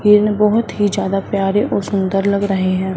हिरन बहोत ही ज्यादा प्यारे और सुंदर लग रहे हैं।